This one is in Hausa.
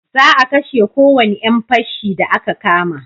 Za a kashe ko wani yan fashi da a ka kama